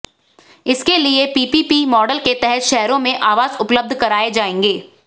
इसके लिए PPP model के तहत शहरों में आवास उपलब्ध कराए जाएंगे